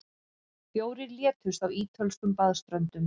Fjórir létust á ítölskum baðströndum